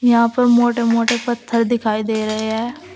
यहां पर मोटे मोटे पत्थर दिखाई दे रहे हैं।